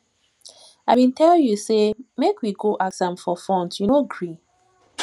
i bin tell you say make we go ask am for funds you no gree